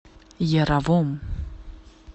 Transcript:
яровом